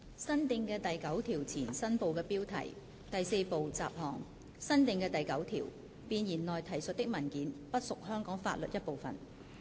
新訂的第9條前第4部雜項新部的標題新訂的第9條弁言內提述的文件不屬香港法律一部分。